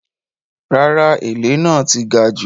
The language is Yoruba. Rárá “èlé” náà ti gajù.